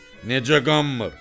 “Necə qanmır?